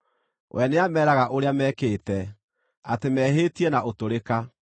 we nĩameeraga ũrĩa mekĩte, atĩ mehĩtie na ũtũrĩka.